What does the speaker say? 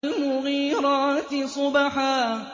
فَالْمُغِيرَاتِ صُبْحًا